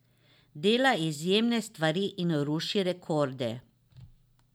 Dela izjemne stvari in ruši rekorde.